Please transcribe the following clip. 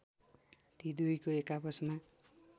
ती दुईको एकआपसमा